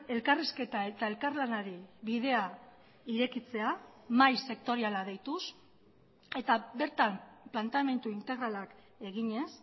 elkarrizketa eta elkarlanari bidea irekitzea mahai sektoriala deituz eta bertan planteamendu integralak eginez